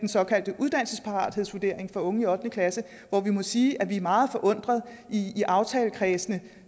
såkaldte uddannelsesparathedsvurdering for unge i ottende klasse hvor vi må sige at vi er meget forundrede i i aftalekredsen